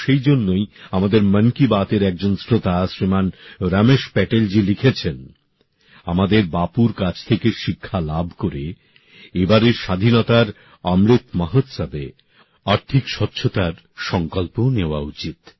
হয়তো সেই জন্যই আমাদের মন কি বাত এর একজন শ্রোতা শ্রীমান রমেশ প্যাটেল জি লিখেছেন আমাদের বাপুর কাছ থেকে শিক্ষা লাভ করে এবারের স্বাধীনতার অমৃত মহোৎসবে আর্থিক স্বচ্ছতার সংকল্পও নেওয়া উচিত